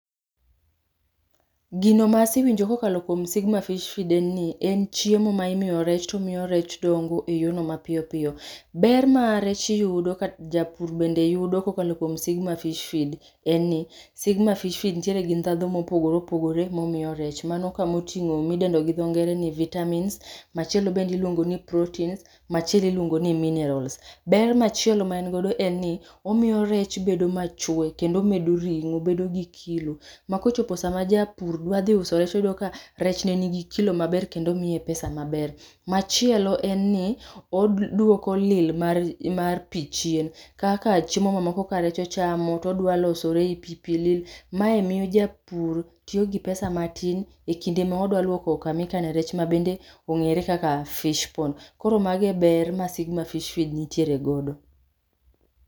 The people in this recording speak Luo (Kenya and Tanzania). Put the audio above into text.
Gino masewinjo kokalo kuom SIGMA FISH FEED en ni, en chiemo ma imiyo rech tomiyo rech dongo eyono mapiyopiyo. Ber ma rech yudo kata japur bende yudo kokalo kuom SIGMA FISH FEED en ni, SIGMA FISH FEED nitiere gi ndhadho mopogore opogore momiyo rech mano kumoting'o midendo gi dho ngere ni vitamins machielo bende iluongo ni proteins[c] machielo iluongo ni minerals. Ber machielo ma godo en ni, omiyo rech bedo machwe kendo omedo ring'o bedo gi kilo. Ma kochopo sama japur dwa dhi uso rech toyudo ka rech ne nigi kilo maber kendo miye pesa maber. Machielo en ni, oduoko lil mar mar pii chien kaka chiemo ma moko ka rech ochamo todwalosore ei pii, pii lil mae miyo japur tiyo gi pesa matin e kinde mo odwa lwoko kama ikane rech ma bende ong'ere kaka fish pond. Koro mage e ber ma SIGMA FISH FEED nitiere godo